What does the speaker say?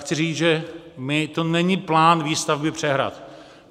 Chci říct, že to není plán výstavby přehrad.